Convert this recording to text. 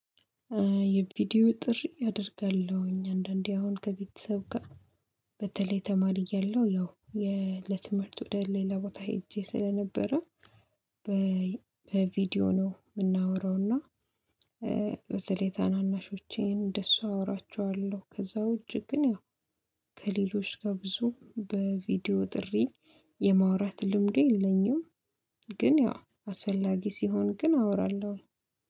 የቪዲዮ ጥሪ አደርጋለሁኝ አንዳንዴ አሁን ከቤተሰብ ጋር በተለይ ተማሪ እያለሁ ያው ለትምህርት ወደ ሌላ ቦታ ሄጄ ስለነበረ። በቪዲዮ ነው የምናወራው እና በተለይ ታናናሾቼን እንደሱ አወራቸዋለሁ ከዛ ውጪ ግን ያው ከሌሎች ጋር ብዙ በቪዲዮ ጥሪ የማውራት ልምዱ የለኝም። ግን ያው አስፈላጊ ሲሆን ግን አወራለሁ